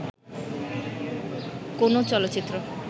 কোনো চলচ্চিত্র